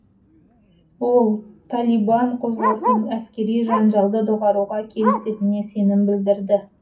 ол талибан қозғалысының әскери жанжалды доғаруға келісетініне сенім білдірді